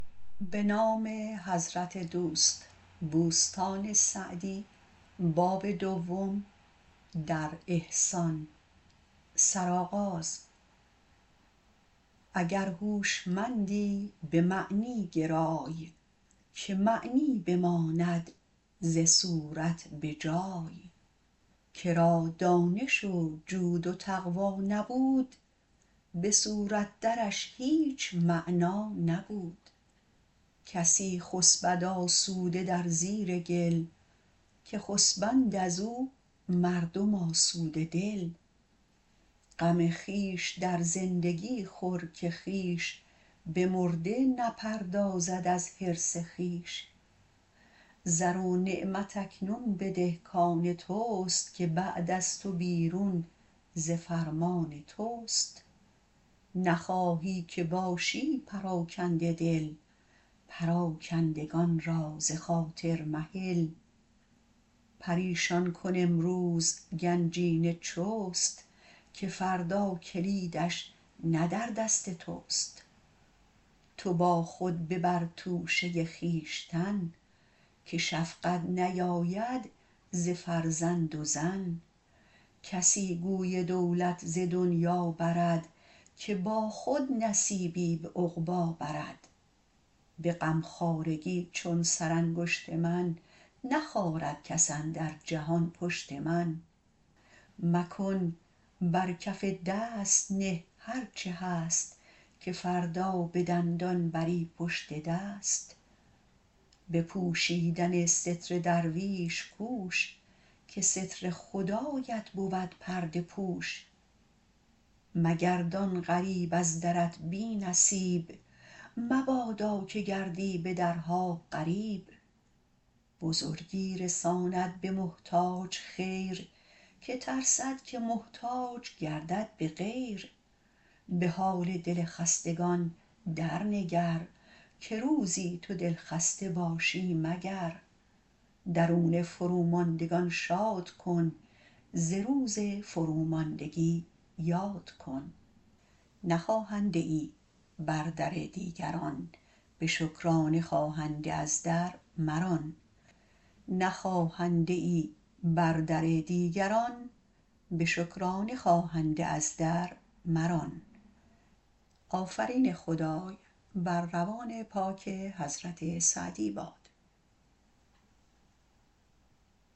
اگر هوشمندی به معنی گرای که معنی بماند ز صورت به جای که را دانش و جود و تقوی نبود به صورت درش هیچ معنی نبود کسی خسبد آسوده در زیر گل که خسبند از او مردم آسوده دل غم خویش در زندگی خور که خویش به مرده نپردازد از حرص خویش زر و نعمت اکنون بده کان تست که بعد از تو بیرون ز فرمان تست نخواهی که باشی پراکنده دل پراکندگان را ز خاطر مهل پریشان کن امروز گنجینه چست که فردا کلیدش نه در دست تست تو با خود ببر توشه خویشتن که شفقت نیاید ز فرزند و زن کسی گوی دولت ز دنیا برد که با خود نصیبی به عقبی برد به غمخوارگی چون سرانگشت من نخارد کس اندر جهان پشت من مکن بر کف دست نه هر چه هست که فردا به دندان بری پشت دست به پوشیدن ستر درویش کوش که ستر خدایت بود پرده پوش مگردان غریب از درت بی نصیب مبادا که گردی به درها غریب بزرگی رساند به محتاج خیر که ترسد که محتاج گردد به غیر به حال دل خستگان در نگر که روزی تو دلخسته باشی مگر درون فروماندگان شاد کن ز روز فروماندگی یاد کن نه خواهنده ای بر در دیگران به شکرانه خواهنده از در مران